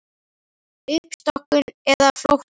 Uppstokkun eða flótti?